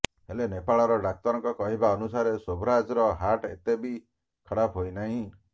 ହେଲେ ନେପାଳର ଡାକ୍ତରଙ୍କ କହିବା ଅନୁସାରେ ଶୋଭରାଜର ହାର୍ଟ ଏତେ ବି ଖରାପ ହୋଇନାହିଁ